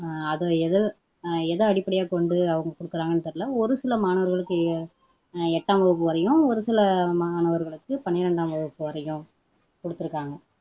அது எதை எதை அடிப்படையாகொண்டு அவங்க குடுக்குறாங்கன்னு தெரியல ஒரு சில மாணவர்களுக்கு எட்டாம் வகுப்பு வரையும் ஒரு சில மாணவர்களுக்கு பனிரெண்டாம் வகுப்பு வரையும் குடுத்துருக்காங்க